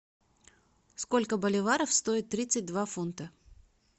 сколько боливаров стоит тридцать два фунта